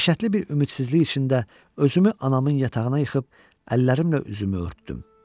Dəhşətli bir ümidsizlik içində özümü anamın yatağına yıxıb əllərimlə üzümü örtdüm.